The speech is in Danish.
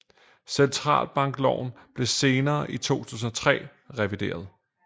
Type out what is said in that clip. Centralbankloven blev senere i 2003 revideret